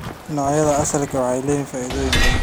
Noocyada asalka ah waxay leeyihiin faa'iidooyin badan.